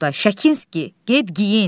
Oqtay, Şəkinski, get geyin.